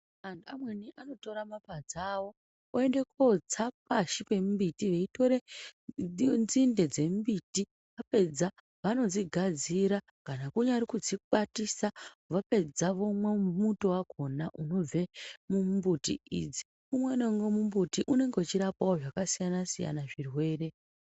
Antu amweni anotore mapadza awo oende kotsa pashi pemimbiti veitore nzinde dzemimbiti apedza vanodzigadzira kana kunyari kudzikwatisa vapedza vomwa muto wakona unobve mumumbuti idzi, umwe naumwe mumbuti unenge uchirape zvakasiyana siyana zvirwere.